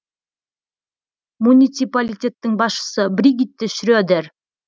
муниципалитеттің басшысы бригитте шредер